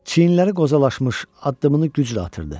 Çiyinləri qozalaşmış, addımını güclə atırdı.